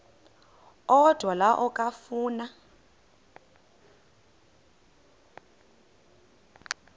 odwa la okafuna